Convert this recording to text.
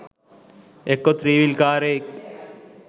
එක්කො three wheel කාරයෙක්